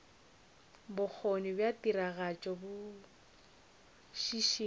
bokgoni bja tiragatšo bo šišinya